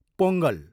Pongal